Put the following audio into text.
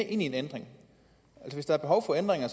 ind i en ændring hvis der er behov for ændringer